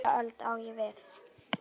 Nýja öld, á ég við.